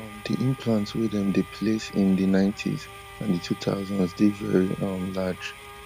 um di implants wey dem dey place in di ninetys and di two thousands dey veri um large